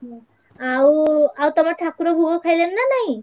ହୁଁ ଆଉ ଆଉ ତମ ଠାକୁର ଭୋଗ ଖାଇଲେଣି ନାଁ ନାହିଁ?